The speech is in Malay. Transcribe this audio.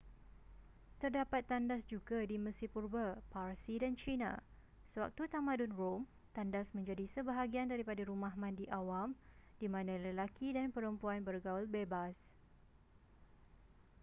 terdapat tandas juga di mesir purba parsi dan china sewaktu tamadun rom tandas menjadi sebahagian daripada rumah mandi awam di mana lelaki dan perempuan bergaul bebas